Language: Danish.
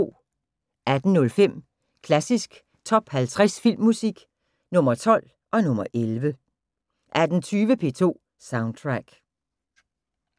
18:05: Klassisk Top 50 Filmmusik – Nr. 12 og nr. 11 18:20: P2 Soundtrack